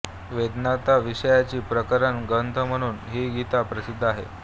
वेदान्ताविषयीचा प्रकरण ग्रंथ म्हणून ही गीता प्रसिद्ध आहे